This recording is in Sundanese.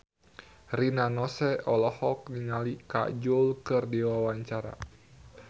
Rina Nose olohok ningali Kajol keur diwawancara